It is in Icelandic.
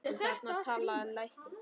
Og þarna talaði læknir.